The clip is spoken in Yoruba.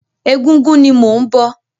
Ẹgúngún ni mò ń bọ̀.